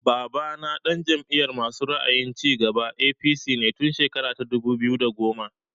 Babana ɗan Jam'iyar masu ra'ayin cigaba (APC) ne tun shekara ta dubu biyu da goma